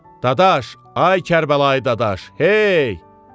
Dadaş, ay Kərbəlayı Dadaş, hey!